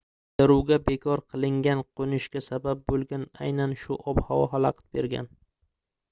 qidiruvga bekor qilingan qoʻnishga sabab boʻlgan aynan shu ob-havo xalaqit bergan